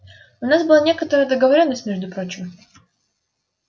у нас была некоторая договорённость между прочим